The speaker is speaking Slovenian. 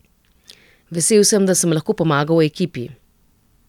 Vesel sem, da sem lahko pomagal ekipi.